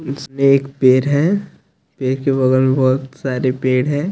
इसमें एक पेर है पेर के बगल में बहोत सारे पेड़ है।